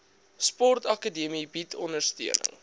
sportakademie bied ondersteuning